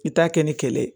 I t'a kɛ ni kɛlɛ ye